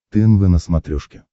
тнв на смотрешке